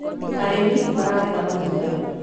arĩmi maragetha matunda